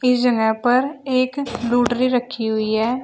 इस जगह पर एक लूडरी रखी हुई है।